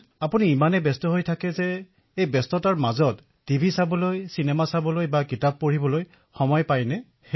অখিলঃ আপুনি ইমান ব্যস্ত হৈ থাকে মোৰ কৌতুহল এয়াই যে আপুনি টিভি চিনেমা চোৱাৰ অথবা কিতাপ পঢ়াৰ বাবে সময় পায়নে